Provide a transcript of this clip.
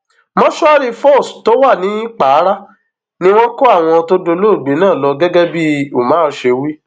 mòṣùárì fós tó wà nìpara ni wọn kó àwọn tó dolóògbé náà lọ gẹgẹ bí umar ṣe wí